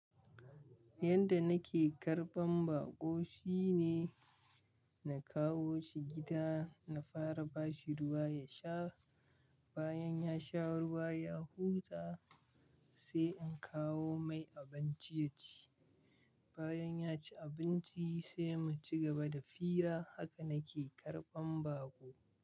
Yanda nake karɓan baƙo shine na kawo shi gida, na fara bashi ruwa ya sha. Bayan ya sha ruwa, ya huta sai in kawo mai abinci ya ci. Bayan ya ci abinci sai mu cigaba da fira. Haka nake karɓan baƙo.